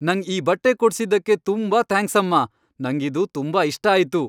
ನಂಗ್ ಈ ಬಟ್ಟೆ ಕೊಡ್ಸಿದ್ದಕ್ಕೆ ತುಂಬಾ ಥ್ಯಾಂಕ್ಸ್ ಅಮ್ಮ! ನಂಗಿದು ತುಂಬಾ ಇಷ್ಟ ಆಯ್ತು.